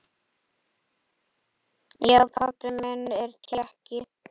Já, pabbi minn er Tékki